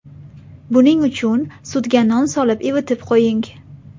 Buning uchun sutga non solib ivitib qo‘ying.